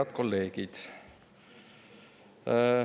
Head kolleegid!